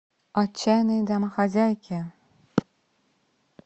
отчаянные домохозяйки